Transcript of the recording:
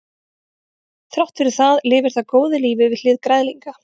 þrátt fyrir það lifir það góðu lífi við hlið græðlinga